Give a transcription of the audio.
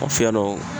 Fiyen dɔ